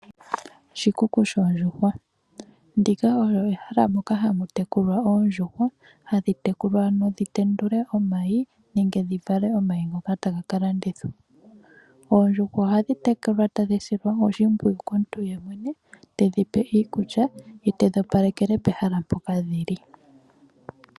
Oshikuku shoondjuhwa. Ndika olo ehala moka hamu tekulwa oondjuhwa, hadhi tekulwa ano dhi tendule omayi, nenge dhi vale omayi ngoka taga ka landithwa. Oondjuhwa ohadhi tekulwa tadhi silwa oshimpwiyu komuntu yemwene tedhi pe iikulya, ye tedhi opalekele pehala mpoka dhi li.